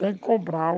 Tem que comprar.